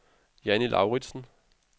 Jannie Lauritzen